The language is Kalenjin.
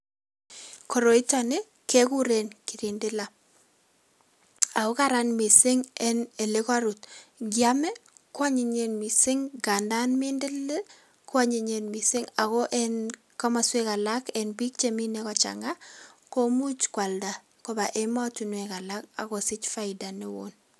Koroitoni ke kuren kirindila aku kararan mising eng ole karut. Ngiame, ko anyinyen mising nganan mindilil kuanyinyen mising ako eng komoswek alak eng biik che mine kochang'a ko much koalda koba emotunwek alak akosich faida ne oo.